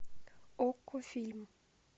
окко фильм